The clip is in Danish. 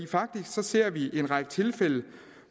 faktisk ser vi en række tilfælde